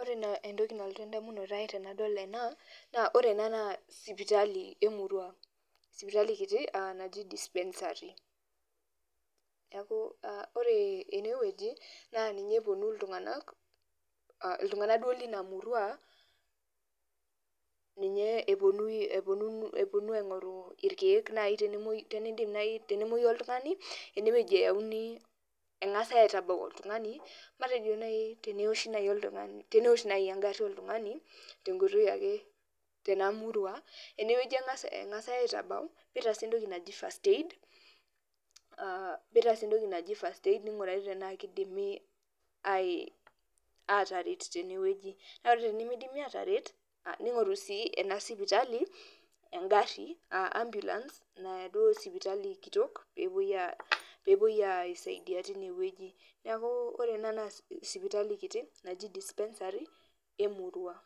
Ore naa entoki nalotu edamunoto ai tenadol ena, naa ore ena naa sipitali emurua. Sipitali kiti naji dispensary. Neeku ore enewueji, naa ninye eponu iltung'anak, iltung'anak duo lina murua, ninye eponu aing'oru irkeek nai tenidim nai tenemoyu oltung'ani, enewueji eyauni eng'asai aitabau oltung'ani, matejo nai teniwosh nai oltung'ani, tenewosh nai egarri oltung'ani, tenkoitoi ake tenamurua, enewueji eng'asai aitabau, pitasi entok naji first aid, mitaasi entoki naji first aid ning'urari tenaa kidimi ataret tenewueji. Na ore tenimidimi ataret, ning'oru si ena sipitali, egarri ambulance naya duo sipitali kitok, pepoi aisaidia tinewueji. Neeku ore ena naa sipitali kiti, naji dispensary emurua.